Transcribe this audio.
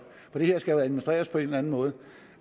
for det her skal jo administreres på en eller anden måde